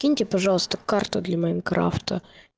киньте пожалуйста карту для майнкрафта